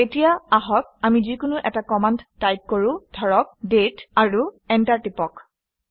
এতিয়া আহক আমি যিকোনো এটা কমাণ্ড টাইপ কৰোঁ ধৰক - দাঁতে আৰু এণ্টাৰ টিপি দিওঁ